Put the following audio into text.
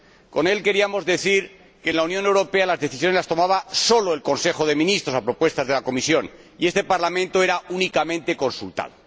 Con él queríamos decir que en la Unión Europea las decisiones las tomaba sólo el Consejo de Ministros, a partir de propuestas de la Comisión, y este Parlamento era únicamente consultado.